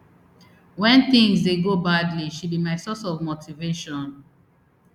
wen tins dey go badly she be my source of motivation